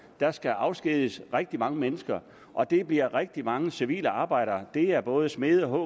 der skal afskediges rigtig mange mennesker og det bliver rigtig mange civile arbejdere det er både smede